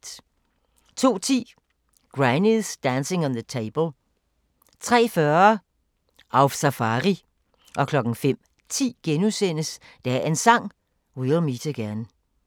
02:10: Granny's Dancing on the Table 03:40: Auf Safari 05:10: Dagens Sang: We'll meet again *